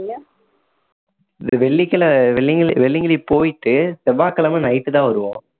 வெள்ளிக்கல~ வெள்ளிங்க்~ வெள்ளியங்கிரி போயிட்டு செவ்வாய் கிழமை night தான் வருவோம்